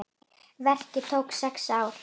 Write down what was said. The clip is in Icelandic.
Verkið tók sex ár.